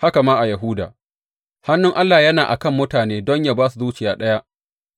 Haka ma a Yahuda, hannun Allah yana a kan mutane don yă ba su zuciya ɗaya